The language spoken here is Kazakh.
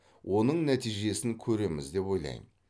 оның нәтижесін көреміз деп ойлаймын